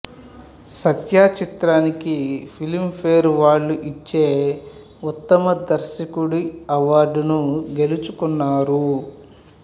సత్య చిత్రానికి Filmfare వాళ్ళు ఇచ్చే ఉత్తమ దర్శకుడి అవార్డును గెల్చుకున్నారు